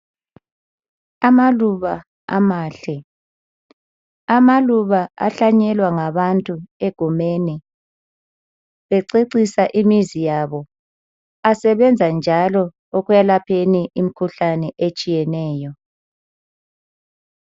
Amaluba amahle, amaluba ahlanyelwa ngabantu egumeni bececisa imizi yabo asebenza njalo ekwelapheni imikhuhlane etshiyeneyo.